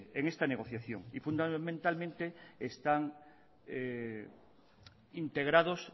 en esta negociación y fundamentalmente están integrados